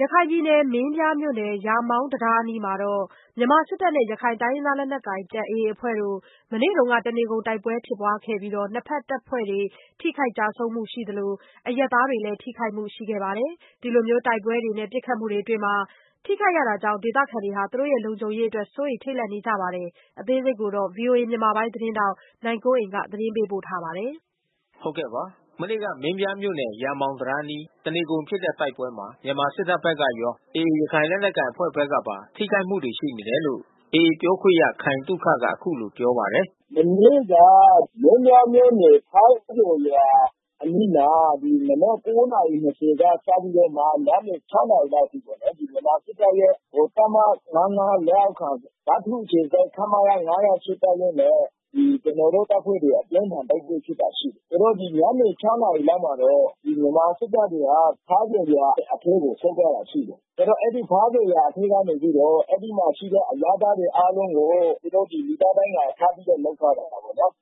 ရခိုင်ပြည်နယ်၊ မင်းပြားမြို့နယ်၊ ရာမောင်တံတားအနီးမှာ တပ်မတော်နဲ့ ရခိုင်လက်နက်ကိုင် အဖွဲ့တို့ မနေ့က တနေကုန် တိုက်ပွဲဖြစ်ပွားရာမှာတော့ နှစ်ဖက်တပ်ဖွဲ့တွေ ထိခိုက်ကျဆုံးမှု ရှိသလို အရပ်သားတွေလည်း ထိခိုက်မှု ရှိနေတာပါ။ ဒီလို တိုက်ပွဲတွေနဲ့ ပစ်ခတ်မှုတွေအတွင်း ထိခိုက်ရတာကြောင့် ဒေသခံတွေ လုံခြုံရေးအတွက် စိုးရိမ်ထိတ်လန့်နေကြရပါတယ်။ အပြည့်အစုံကို ဗွီအိုအေ မြန်မာပိုင်းသတင်းထောက် နိုင်ကွန်းအိန် ဆက်သွယ်မေးမြန်း သတင်းပေးပို့ထားပါတယ်။ မနေ့က မင်းပြားမြို့နယ် ရာမောင်တံတားအနီး တနေကုန်ဖြစ်တဲ့ တိုက်ပွဲမှာ မြန်မာစစ်တပ်ဘက်ကရော AA ရခိုင်လက်နက်ကိုင်အဖွဲ့ဘက်ကပါ ထိခိုက်မှုရှိတယ်လို့ AA ပြောခွင့်ရ ခိုင်သုခက အခုလို ပြောပါတယ်။ “မနေ့က မင်းပြားမြို့နယ် ဖားပျော်ရွာအနီးမှာ မနက် ၉ နာရီ ၂၀ စပြီးတာ့မှ ညနေ ၆ နာရီလောက်အထိပေါ့နော်။ ဗမာစစ်တပ်ရဲ့ တပ်မ ၅၅ လက်အောက်ခံ ဗထူးအခြေစိုက် ခမရ ၅၀၈ တပ်ရင်းနဲ့ ကျနော်တို့အဖွဲ့ အပြင်းထန် တိုက်ပွဲဖြစ်တာရှိတယ်။ ဆိုတော့ ဒီညနေ ၆ နာရီလောက်မှာတော့ မြန်မာစစ်တပ်တွေဟာ ဖားပျော်ရွာအထဲကို ဆင်းသွားတာရှိတယ်။ ဆိုတော့ အဲဒီ ဖားပျော်ရွာအထဲကနေပြီးတော့ အဲဒီမှာရှိတဲ့ အရပ်သားတွေအားလုံးကို သူတို့ လူသားဒိုင်းကာထားပြီးတော့ လုပ်ထားတာပေါ့နော်။ “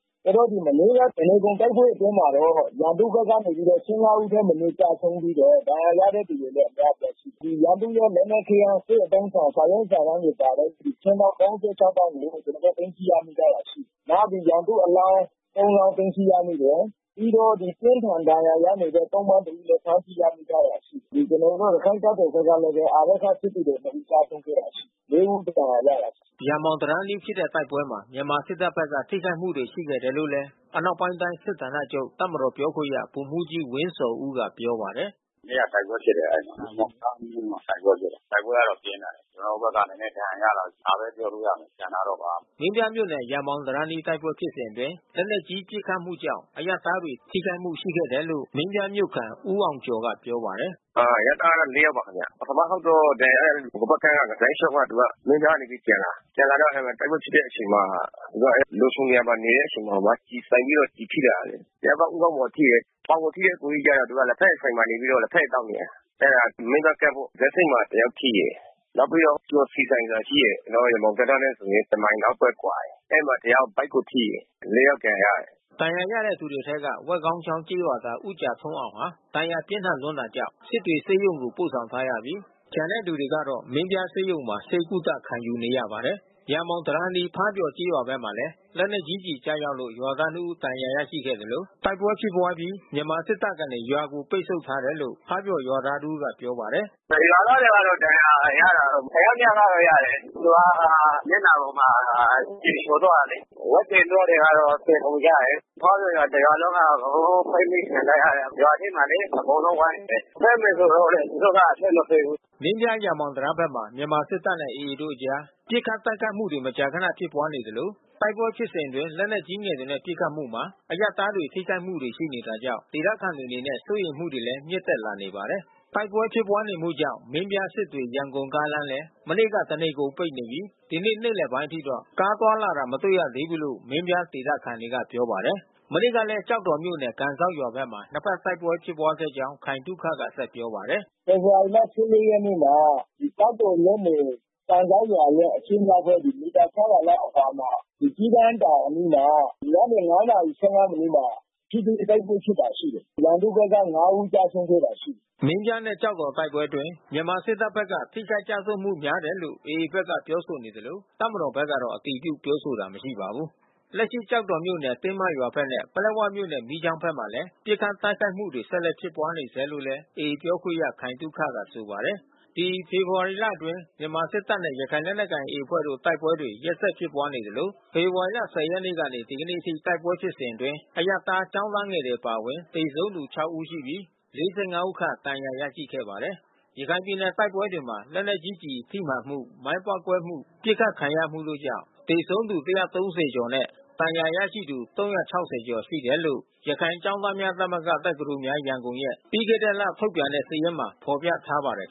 မနေ့က တနေကုန် တိုက်ပွဲအတွင်းမှာတော့ ရန်သူဘက်က ၁၅ ဦးထက်မနည်း ကျဆုံးပြီးတော့ ဒဏ်ရာရတဲ့သူတွေလည်း အများအပြားရှိတယ်။ ရန်သူ့ရဲ့ လက်နက်ခဲယမ်း စစ်အသုံးအဆောင် စာရွက်စာတမ်းတွေပါတဲ့ ခြင်းတောင်း ၃၆ တောင်းကို ကျနော်တို့ သိမ်းဆည်းရမိထားတာ ရှိတယ်။ နောက် ရန်သူ့အလောင်း ၃ လောင်း သိမ်းဆည်းရမိတယ်။ ပြီးတော့ အပြင်းအထန် ဒဏ်ရာရနေတဲ့ သုံ့ပန်းတဦးလည်း ဖမ်းဆီးရမိထားတယ်။ ကျနော်တို့ ရခိုင်တပ်တော်ဘက်ကလည်းပဲ အာရက္ခစစ်သည်တော်တဦး ကျဆုံးခဲ့တာရှိတယ်။ ၄ ဦး ဒဏ်ရာရပါတယ်။” ရာမောင်တံတားအနီးဖြစ်တဲ့ တိုက်ပွဲမှာ မြန်မာစစ်တပ်ဘက်က ထိခိုက်မှု ရှိခဲ့တယ်လို့ အနောက်ပိုင်းတိုင်း စစ်ဌာနချုပ် တပ်မတော်ပြောခွင့်ရ ဗိုလ်မှူးကြီးဝင်းဇော်ဦးက ပြောပါတယ်။ “မနေ့က တိုက်ပွဲဖြစ်တယ် အဲဒီမှာ။ ရာမောင်တံတားအနီးမှာ တိုက်ပွဲဖြစ်တယ်။ တိုက်ပွဲကတော့ ပြင်းထန်တယ်။ ကျနော်တို့ဘက်က နည်းနည်း ဒဏ်ရာရတယ်။ ဒါပဲပြောလို့ရမယ် ကျန်တာတော့ ဘာမှမသိဘူး။” မင်းပြားမြို့နယ် ရာမောင်တံတားအနီး တိုက်ပွဲဖြစ်စဉ်အတွင်း လက်နက်ကြီး ပစ်ခတ်မှုကြောင့် အရပ်သားတွေ ထိခိုက်မှုရှိခဲ့ပါတယ်လို့ မင်းပြားမြို့ခံ ဦးအောင်ကျော်က ပြောပါတယ်။ “အရပ်သားက ၄ ယောက်ပါခင်ဗျ။ ပထမတခေါက်တော့ ဒဏ်ရာရတဲ့သူ တဖက်ကမ်းကပါပဲ။ လမ်းလျှောက်ပြီးတော့ သူက မင်းပြားကနေ ပြန်လာတာ။ ပြန်လာတော့ အဲဒီမှာ တိုက်ပွဲဖြစ်တဲ့အချိန်မှာ သူက လုံခြုံတဲ့နေရာမှာ နေတဲ့အချိန်မှာမှ ကျည်မှန်ပြီးတော့ ကျည်ထိတာ။ တယောက်က ဦးခေါင်းမှာထိတယ်။ ပေါင်မှာထိတဲ့ အစ်ကိုကြီးကတော့ သူက လက်ဖက်ရည်ဆိုင်မှာ နေပြီးတော့ လက်ဖက်ရည်သောက်နေတယ်။ အဲဒါ မင်းပြားကမ်းပေါ့။ ဇက်ဆိပ်မှာ တယောက်ထိတယ်။ နောက်ပြီးတော့ ကျော်ဆီဆိုင်ဆိုတာ ရှိတယ်။ ကျနော်တို့ ရာမောင်ဘက်ကမ်းနဲ့ဆို တမိုင်လောက်ပဲ ကွာတယ်။ အဲဒီမှာတယောက် ဗိုက်ကိုထိတယ်။ ၄ ယောက် ဒဏ်ရာရတယ်။” ဒဏ်ရာရတဲ့သူတွေအထဲက ဝက်ခေါင်းချောင်းကျေးရွာသား ဦးကြာထွန်းအောင်ဟာ ဒဏ်ရာပြင်းထန်တာကြောင့် စစ်တွေဆေးရုံကို ပို့ဆောင်ထားရပြီး ကျန်တဲ့သူတွေကတော့ မင်းပြားဆေးရုံမှာ ဆေးကုသ ခံယူနေရပါတယ်။ ရာမောင်တံတားအနီး ဖားပျော်ကျေးရွာဘက်မှာလည်း လက်နက်ကြီးကျည် ကျရောက်လို့ ရွာသား ၂ ဦး ဒဏ်ရာရရှိခဲ့သလို တိုက်ပွဲဖြစ်ပွားအပြီး မြန်မာစစ်တပ်ကနေ ရွာကို ပိတ်ဆို့ထားတယ်လို့ ဖားပျော်ရွာသားတဦးက ပြောပါတယ်။ “ရွာသားတွေကတော့ ဒဏ်ရာရတယ်။ တယောက် နှစ်ယောက်ကတော့ ရတယ်။ သူက မျက်နှာပေါ်က ကျည်ချော်သွားတယ်လေ။ ဝက်တွေ နွားတွေတော့ သေကုန်ကြတယ်။ ဖားပျော်ရွာ တရွာလုံးက အကုန်လုံး ပိတ်မိခံထားရတယ်။ ရွာထဲကိုလေ အကုန်လုံးဝိုင်းနေတယ်။ ထွက်မယ်ဆိုတော့လည်း သူတို့က အထွက်မပေးဘူး။” မင်းပြား ရာမောင်တံတားဘက်မှာ မြန်မာစစ်တပ်နဲ့ AA တို့အကြား ပစ်ခတ်တိုက်ခိုက်မှုတွေ မကြာခန ဖြစ်ပွားနေသလို တိုက်ပွဲဖြစ်စဉ်အတွင်း လက်နက်ကြီးငယ်တွေနဲ့ ပစ်ခတ်မှုမှာ အရပ်သားတွေ ထိခိုက်မှုတွေ ရှိနေတာကြောင့် ဒေသခံတွေအနေနဲ့ စိုးရိမ်မှုတွေလည်း မြင့်တက်လာနေပါတယ်။ မနေ့ကလည်း ကျောက်တော်မြို့နယ် ကန်စောက်ရွာဘက်မှာ နှစ်ဖက် တိုက်ပွဲဖြစ်ပွားခဲ့ကြောင်း ခိုင်သုခက ဆက်ပြောပါတယ်။ “ဖေဖော်ဝါရီလ ၁၄ ရက်နေ့မှာ ကျောက်တော်မြို့နယ် ကန်စောက်ရွာရဲ့ အရှေ့မြောက်ဘက် မီတာ ၆၀၀ လောက်အကွာမှာ ဒီ ကျီးကန်းတောင်အနီးမှာ ညနေ ၅ နာရီ ၁၅ မိနစ်မှာ ထိတွေ့ တိုက်ပွဲဖြစ်တာ ရှိတယ်။ ရန်သူ့ဘက်က ၅ ဦး ကျဆုံးခဲ့တာရှိတယ်။” မင်းပြားနဲ့ ကျောက်တော် တိုက်ပွဲအတွင်း မြန်မာစစ်တပ်ဘက်က ထိခိုက်ကျဆုံးမှု များတယ်လို့ AA ဘက်က ပြောဆိုနေသလို တပ်မတော်ဘက်ကတော့ အတည်ပြုပြောဆိုတာ မရှိပါဘူး။ ဒီဖေဖော်ဝါရီလအတွင်း မြန်မာစစ်တပ်နဲ့ ရခိုင်လက်နက်ကိုင် AA အဖွဲ့တို့ တိုက်ပွဲတွေ ရက်ဆက်ဖြစ်ပွားနေသလို ဖေဖော်ဝါရီ ၁၀ ရက်ကနေ ဒီကနေ့အထိ တိုက်ပွဲဖြစ်စဉ်အတွင်း အရပ်သား ကျောင်းသားငယ်တွေ အပါအဝင် သေဆုံးသူ ၆ ဦးရှိပြီး ၄၅ ဦးခန့် ဒဏ်ရာရရှိခဲ့ပါတယ်။ ရခိုင်ပြည်နယ် တိုက်ပွဲတွေမှာ လက်နက်ကြီးကျည်ထိမှန်မှု၊ မိုင်းပေါက်ကွဲမှု၊ ပစ်ခတ်ခံရမှုတို့ကြောင့် သေဆုံးသူ ၁၃၀ ကျော်နဲ့ ဒဏ်ရာရရှိသူ ၃၆၀ ကျော်ရှိတယ်လို့ ရခိုင်ကျောင်းသားများသမဂ္ဂ ရဲ့ ပြီးခဲ့တဲ့လ ထုတ်ပြန်တဲ့စာရင်းမှာ ဖော်ပြထားပါတယ်